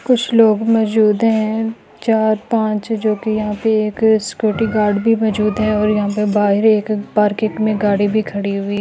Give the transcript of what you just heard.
कुछ लोग मौजूद हैं चार पाँच जो की यहां पे एक सिक्योरिटी गार्ड भी मौजूद है और यहां पे बाहर एक पार्किंग में गाड़ी भी खड़ी हुई --